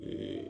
Ɛɛ